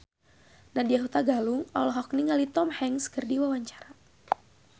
Nadya Hutagalung olohok ningali Tom Hanks keur diwawancara